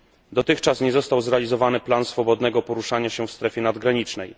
Dotychczas nie został zrealizowany plan swobodnego poruszania się w strefie nadgranicznej.